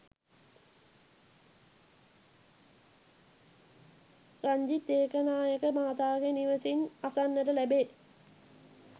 රංජිත් ඒකනායක මහතාගේ නිවෙසින් අසන්නට ලැබේ.